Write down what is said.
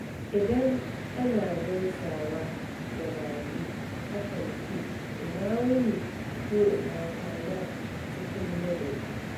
Idan ana gaisawa da baƙi, akan ce "Ina wuni?" ko "Ina kwana?" cikin ladabi.